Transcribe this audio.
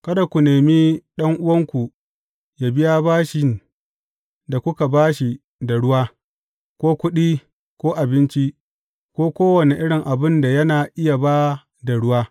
Kada ku nemi ɗan’uwanku yă biya bashin da kuka ba shi da ruwa, ko kuɗi, ko abinci, ko kowane irin abin da yana iya ba da ruwa.